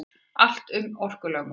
Allt um orkulögmálið.